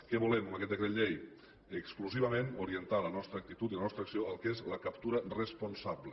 què volem amb aquest decret llei exclusivament orientar la nostra actitud i la nostra acció al que és la captura responsable